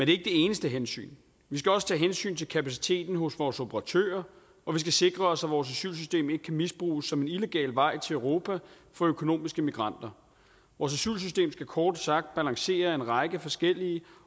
det eneste hensyn vi skal også tage hensyn til kapaciteten hos vores operatører og vi skal sikre os at vores asylsystem ikke kan misbruges som en illegal vej til europa for økonomiske immigranter vores asylsystem skal kort sagt balancere en række forskellige